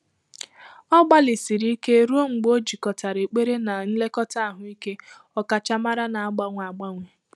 Ọ́ gbàlị̀sị̀rị̀ íké rùó mgbè ọ́ jìkọ́tàrà ékpèré nà nlèkọ́tà àhụ́ị́ké ọ́kàchàmárá nà-àgbànwé ágbànwé.